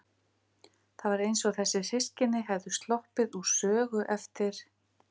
Það var eins og þessi systkini hefðu sloppið úr sögu eftir